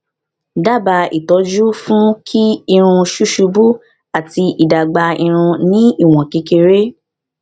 daba ìtọjú fún kí irun susubu ati idagba irun ni iwon kekere